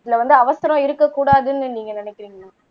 இல்ல வந்து அவசரம் இருக்கக் கூடாதுன்னு நீங்க நினைக்கிறீங்களா